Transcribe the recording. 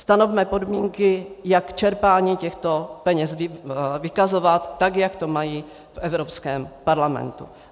Stanovme podmínky, jak čerpání těchto peněz vykazovat, tak jak to mají v Evropském parlamentu.